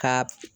Ka